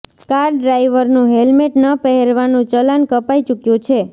car ડ્રાઈવરનું helmet ન પહેરવાનું ચલાન કપાઈ ચૂક્યું છે